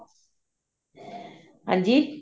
ਹਾਂਜੀ